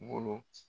Bolo